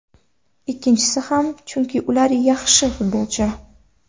Ikkisini ham, chunki ular juda yaxshi futbolchi.